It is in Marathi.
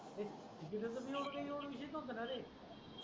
तेव्हा पिक्चरचं काही विशेष नव्हतं ना रे